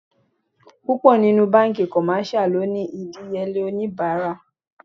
Púpọ̀ nínú banki commercial lónìí idiyele onibara.